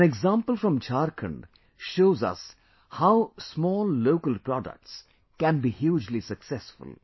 An example from Jharkhand shows us how small local products can be hugely successful